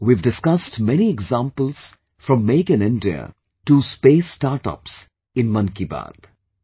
We have discussed many examples from Make in India to Space Startups in 'Mann Ki Baat'